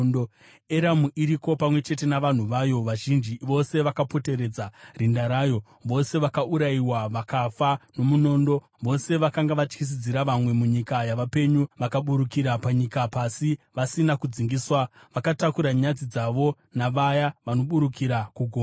“Eramu iriko, pamwe chete navanhu vayo vazhinji vose vakapoteredza rinda rayo. Vose vakaurayiwa, vakafa nomunondo. Vose vakanga vatyisidzira vamwe munyika yavapenyu vakaburukira panyika pasi vasina kudzingiswa. Vakatakura nyadzi dzavo navaya vanoburukira kugomba.